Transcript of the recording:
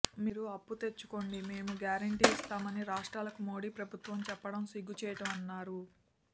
మీరు అప్పు తెచ్చుకోండి మేము గ్యారెంటీ ఇస్తామని రాష్ట్రాలకు మోడీ ప్రభుత్వం చెప్పడం సిగ్గుచేటన్నారు